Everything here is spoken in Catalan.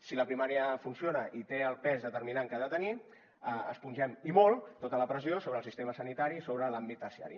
si la primària funciona i té el pes determinant que ha de tenir espongem i molt tota la pressió sobre el sistema sanitari sobre l’àmbit terciari